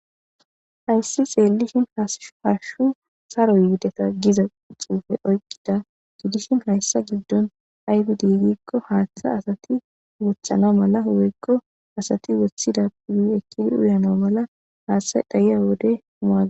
ayssi xeelishin haashshu saro yideta giza xuufe oykkida gidishin hayssa giddon aybi diigikko haaththa asati wothana mala woykko asati woththida yekkidii uyano mala haaththay dhayiya wode mua